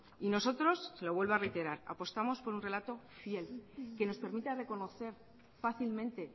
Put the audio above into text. y nosotros se lo vuelvo a reiterar apostamos por un relato fiel que nos permita reconocer fácilmente